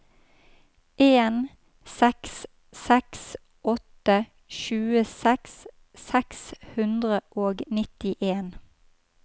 en seks seks åtte tjueseks seks hundre og nittien